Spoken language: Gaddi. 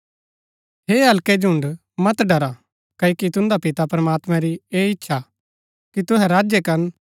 हे हल्कै झुण्ड़ मत ड़रा क्ओकि तुन्दै पिता प्रमात्मां री ऐह इच्छा हा कि तुहै राज्य करन